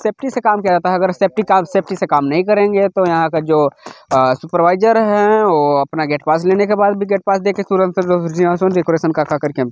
Safety से काम किया जाता है अगर सेफ़्टी से काम नहीं करेंगे तो जो यहाँ का जो सूपर्वाइज़र हैवो अपना गेट पास लेने के बाद भी गेट पास देके ।